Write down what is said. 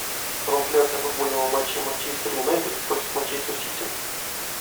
трансляция футбольного матча манчестер юнайтед против манчестер сити